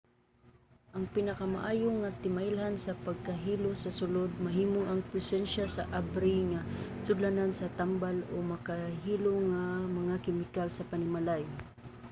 ang pinakamaayo nga timailhan sa pagkahilo sa sulod mahimong ang presensiya sa abri nga sudlanan sa tambal o makahilo nga mga kemikal sa panimalay